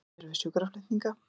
Annir við sjúkraflutninga